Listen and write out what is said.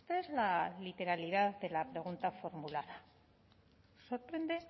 es la literalidad de la pregunta formulada sorprende